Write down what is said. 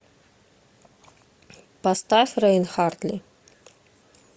поставь рейн хартли